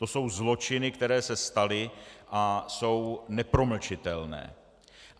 To jsou zločiny, které se staly a jsou nepromlčitelné.